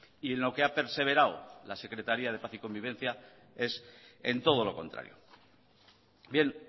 y en lo que ha perseverado la secretaría de paz y convivencia es en todo lo contrario bien